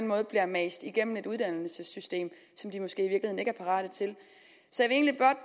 måde bliver mast igennem et uddannelsessystem som de måske ikke er parate til så